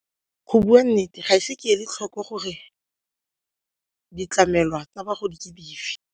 Go bua nnete ga ise ke le tlhoko gore ditlamelwa tsa bagodi ke dife.